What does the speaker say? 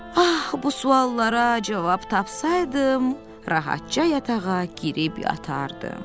Ax, bu suallara cavab tapsaydım, rahatca yatağa girib yatardım.